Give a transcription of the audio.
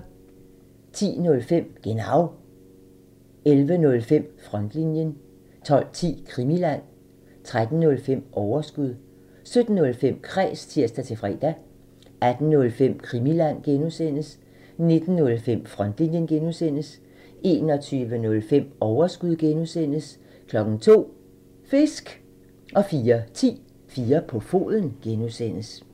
10:05: Genau (tir) 11:05: Frontlinjen (tir) 12:10: Krimiland (tir) 13:05: Overskud (tir) 17:05: Kræs (tir-fre) 18:05: Krimiland (G) (tir) 19:05: Frontlinjen (G) (tir) 21:05: Overskud (G) (tir) 02:00: Fisk! (tir) 04:10: 4 på foden (G) (tir)